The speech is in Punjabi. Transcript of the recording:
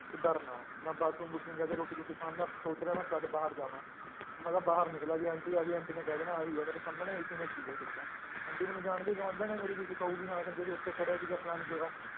ਤੂੰ ਡਰ ਨਾ ਮੈਂ ਬਾਥਰੂਮ ਬੂਥਰੂਮ ਜਾ ਕੇ ਰੋਟੀ ਰੂਟੀ ਖਾਣ ਮੈਂ ਸੋਚ ਰਿਹਾ ਮੈਂ ਕਦ ਬਾਹਰ ਜਾਵਾਂ ਮੈਂ ਕਿਹਾ ਬਾਹਰ ਨਿਕਲਾਂ ਜੇ ਆਂਟੀ ਆ ਗਈ ਆਂਟੀ ਨੇ ਕਹਿ ਦੇਣਾ ਆਹੀ ਆ ਮੇਰੇ ਸਾਹਮਣੇ ਇਸੀ ਨੇ ਪੀ ਹੈ ਸਿਗਰਟਾਂ ਆਂਟੀ ਮੈਨੂੰ ਜਾਣਦੀ ਗੁਆਂਢਣ ਹੈ ਮੇਰੀ ਵੀ ਕਹੇਗੀ ਹਾਂ ਸੰਜੇ ਤੂੰ ਉੱਥੇ ਖੜਿਆ ਸੀਗਾ ਫਲਾਣੀ ਜਗ੍ਹਾ